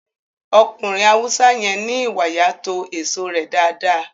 Ọkùnrin Haúsá yẹn ní ìwàyà to èso rẹ dáadáa